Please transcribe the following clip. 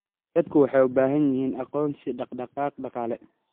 Dadku waxay u baahan yihiin aqoonsi dhaqdhaqaaq dhaqaale.